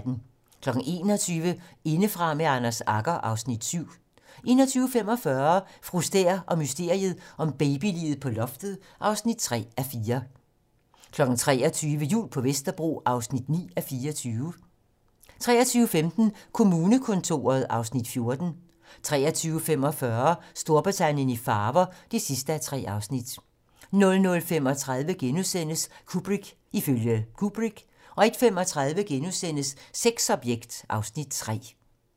21:00: Indefra med Anders Agger (Afs. 7) 21:45: Fru Stæhr og mysteriet om babyliget på loftet (3:4) 23:00: Jul på Vesterbro (9:24) 23:15: Kommunekontoret (Afs. 14) 23:45: Storbritannien i farver (3:3) 00:35: Kubrick ifølge Kubrick * 01:35: Sexobjekt (Afs. 3)*